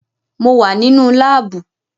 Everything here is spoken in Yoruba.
Mo wà nínú láàbù